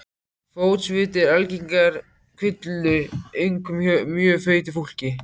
Fótsviti eru algengur kvilli, einkum hjá mjög feitu fólki.